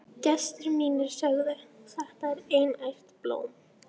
Gestir mínir sögðu: Þetta er einært blóm.